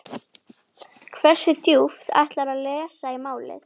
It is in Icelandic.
Hversu djúpt ætlarðu að lesa í málið?